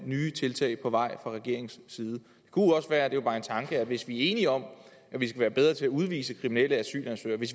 nye tiltag på vej fra regeringens side det kunne også være det er bare en tanke at hvis vi er enige om at vi skal være bedre til at udvise kriminelle asylansøgere